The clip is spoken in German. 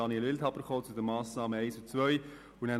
Wildhaber wird sich nachher zu den Massnahmen 1 und 2 äussern.